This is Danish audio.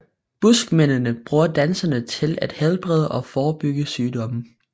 Buskmændene bruger dansen til at helbrede og forebygge sygdomme